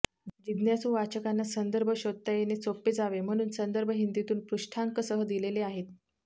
जिज्ञासू वाचकांना संदर्भ शोधता येणे सोपे जावे म्हणून संदर्भ हिंदीतून पृष्ठांकसह दिलेले आहेत